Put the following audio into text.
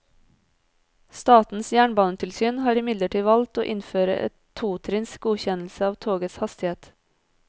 Statens jernbanetilsyn har imidlertid valgt å innføre en totrinns godkjennelse av togets hastighet.